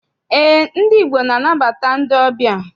Eé, ndị Igbo na- anabata ndị ọbịa.